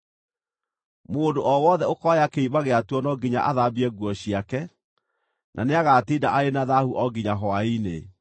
Mũndũ o wothe ũkooya kĩimba gĩatuo no nginya athambie nguo ciake, na nĩagatinda arĩ na thaahu o nginya hwaĩ-inĩ.